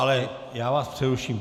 Ale já vás přeruším.